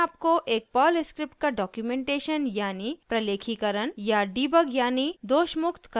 ये आपको एक पर्ल स्क्रिप्ट का डॉक्यूमेंटेशन यानी प्रलेखीकरण या डिबग यानी दोषमुक्त करने के लिए मदद करता है